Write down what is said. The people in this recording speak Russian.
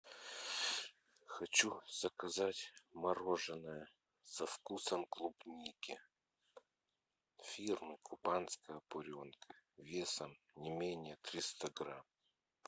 хочу заказать мороженое со вкусом клубники фирмы кубанская буренка весом не менее триста грамм